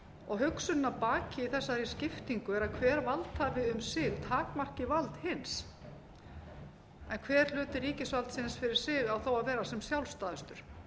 og hugsunin að baki þessari skiptingu er að hver valdhafi um sig takmarki vald hins en hver hluti ríkisvaldsins fyrir sig á þó að vera sem sjálfstæðastur